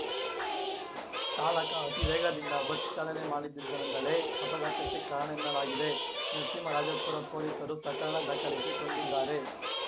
ಚಾಲಕ ಅತಿ ವೇಗದಿಂದ ಬಸ್‌ ಚಾಲನೆ ಮಾಡಿದ್ದರಿಂದಲೇ ಅಪಘಾತಕ್ಕೆ ಕಾರಣ ಎನ್ನಲಾಗಿದೆ ನರಸಿಂಹರಾಜಪುರ ಪೊಲೀಸರು ಪ್ರಕರಣ ದಾಖಲಿಸಿ ಕೊಂಡಿದ್ದಾರೆ